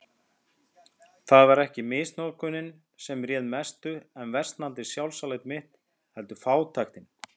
Það var ekki misnotkunin sem réð mestu um versnandi sjálfsálit mitt, heldur fátæktin.